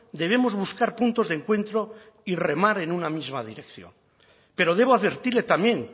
debemos buscar puntos de encuentro y remar en una misma dirección pero debo advertirle también